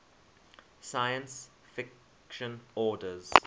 science fiction authors